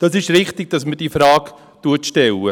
Es ist richtig, dass man diese Frage stellt.